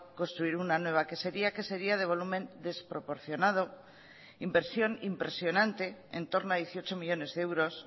construir una nueva quesería quesería de volumen desproporcionado inversión impresionante entorno a dieciocho millónes de euros